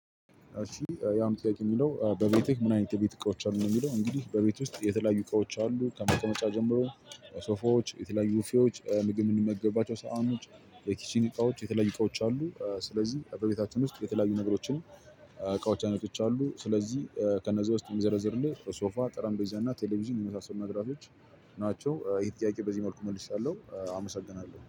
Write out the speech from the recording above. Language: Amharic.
እሺ ያም ጥያቄ የሚለው በቤትህ ምን አይነት የቤት እቃዎች አሉ ነው? የሚለው እንግዲህ በቤት ውስጥ የተለያዩ እቃዎች አሉ ከመቀመጫ ጀምሮ ሶፋዎች የተለያዩ ቡፌዎች ምግብ የምንመገባቸው ሰሃኖች የኪችን እቃዎች የተለያዩ እቃዎች አሉ። ስለዚህ በቤታችን ውስጥ የተለያዩ ነገሮችን እቃዎች አይነቶች አሉ። ስለዚህ ከነዛ ውስጥ የሚዘረዝርልህ ሶፋ ጠረንጴዛ እና ቴሌቪዥን የመሳሰሉ መብራቶች ናቸው። ይሄን ጥያቄ በዚህ መልኩ መልሻለሁ። አመሰግናለሁ